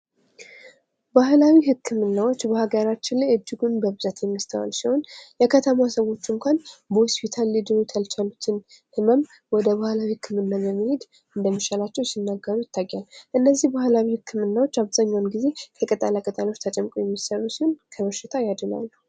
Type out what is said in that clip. ባህላዊ ሕክምናዎች በሀገራችን ላይ እጅጉን በብዛት የሚስተዋል ሲሆን፤ የከተማዋ ሰዎች እንኳን በሆስፒታሎች ሊድኑ ያልቻሉትን ህመም ወደ ባህላዊ ህክምና በመሄድ እንደሚሻላቸው ሲናገሩ ይታያል። እነዚህ ባህላዊ ህክምናዎች አብዛኛውን ጊዜ ከቅጠላ ቅጠሎች ተጨምቀው የሚሠሩ ሲሆን፤ ከነሽታው ያድናሉ።